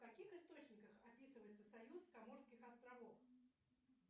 в каких источниках описывается союз каморских островов